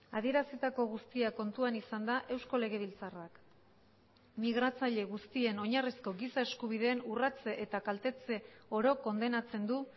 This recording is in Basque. adierazitako guztia kontuan izanda eusko legebiltzarrak migratzaile guztien oinarrizko giza eskubideen urratze eta kaltetze oro kondenatzen du